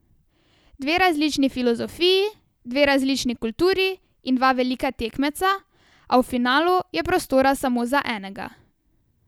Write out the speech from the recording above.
Dve različni filozofiji, dve različni kulturi in dva velika tekmeca, a v finalu je prostora samo za enega.